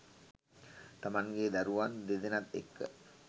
තමන්ගේ දරුවන් දෙදෙනත් එක්ක